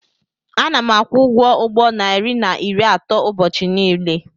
Ana m akwụ ụgwọ ụgbọ narị na iri atọ ụbọchị niile.